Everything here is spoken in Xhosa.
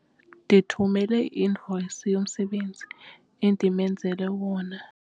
Ndithumele i-invoyisi yomsebenzi endimenzele wona.